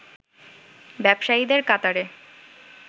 ব্যবসায়ীদের কাতারে